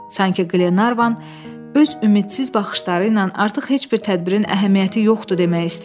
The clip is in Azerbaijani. Sankı Qlenarvan öz ümidsiz baxışları ilə artıq heç bir tədbirin əhəmiyyəti yoxdur demək istəyirdi.